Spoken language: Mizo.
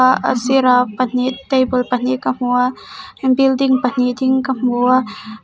ah a sirah pahnih table pahnih ka hmu a building pahnih ding ka hmu a.